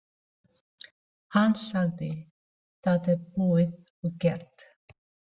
Hann sagði: Það er búið og gert.